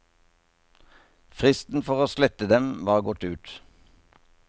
Fristen for å slette dem var gått ut.